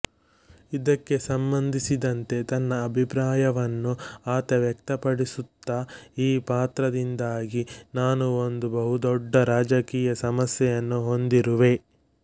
ಇದಕ್ಕೆ ಸಂಬಂಧಿಸಿದಂತೆ ತನ್ನ ಅಭಿಪ್ರಾಯವನ್ನು ಆತ ವ್ಯಕ್ತಪಡಿಸುತ್ತಾ ಈ ಪಾತ್ರದಿಂದಾಗಿ ನಾನು ಒಂದು ಬಹುದೊಡ್ಡ ರಾಜಕೀಯ ಸಮಸ್ಯೆಯನ್ನು ಹೊಂದಿರುವೆ